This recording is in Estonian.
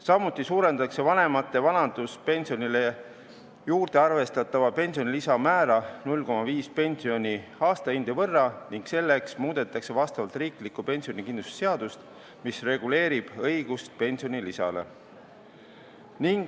Samuti suurendatakse vanemate vanaduspensionile juurde arvestatava pensionilisa määra 0,5 pensioni aastahinde võrra ning selleks muudetakse vastavalt riiklikku pensionikindlustuse seadust, mis reguleerib õigust pensionilisale.